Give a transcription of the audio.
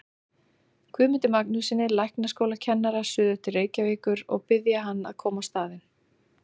Guðmundi Magnússyni læknaskólakennara suður til Reykjavíkur og biðja hann að koma á staðinn.